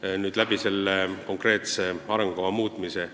kui me seda konkreetset arengukava muudame.